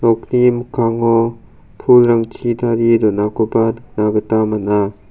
nokni mikkango pulrangchi tarie donakoba nikna gita man·a.